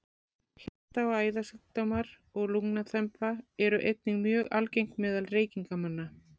Hjarta- og æðasjúkdómar og lungnaþemba eru einnig mjög algeng meðal reykingamanna.